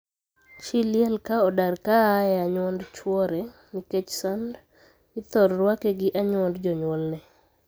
Chii liel ka odar ka aa e anyuond chwore, nikech sand, ithor rwake gi anyuond jonyuolne.